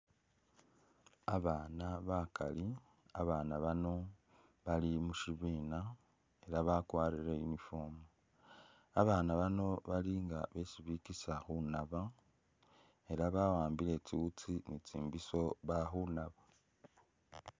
Abaana bakali abaana bano bali mushibina ela bakwarire uniform ,babaana bano bali nga besi bikisa khunaaba ela bawambile tsiwutsi ni tsibiso bakhunaaba